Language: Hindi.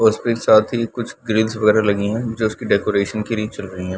उसपे साथ ही कुछ ग्रिल्ल्स वगैरह लगी हैं जो उसकी डेकोरेशन के लिए चल रही हैं।